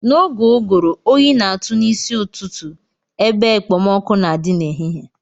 N'oge ụgụrụ oyi na-atụ n'isi ụtụtụ ebe ekpomọkụ́ na-adị n'ehihie